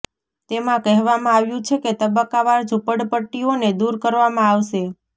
તેમાં કહેવામાં આવ્યું છે કે તબક્કાવાર ઝૂંપડપટ્ટીઓને દૂર કરવામાં આવશે